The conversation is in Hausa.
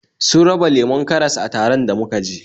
Sun raba lemon karas a taron da muka je